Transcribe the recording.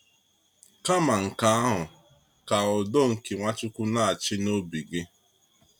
Kama nke ahụ, ka udo nke Nwachukwu na-achị n’obi gị.